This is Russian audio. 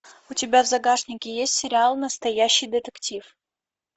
у тебя в загашнике есть сериал настоящий детектив